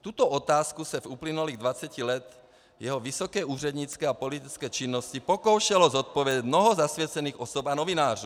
Tuto otázku se v uplynulých 20 letech jeho vysoké úřednické a politické činnosti pokoušelo zodpovědět mnoho zasvěcených osob a novinářů.